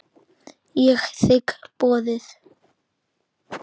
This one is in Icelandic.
Ég þigg boðið.